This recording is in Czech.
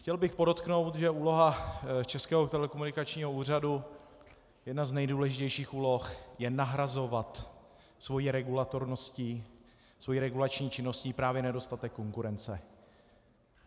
Chtěl bych podotknout, že úloha Českého telekomunikačního úřadu, jedna z nejdůležitějších úloh, je nahrazovat svou regulatorností, svou regulační činností právě nedostatek konkurence.